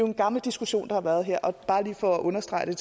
en gammel diskussion der har været her og bare lige for at understrege det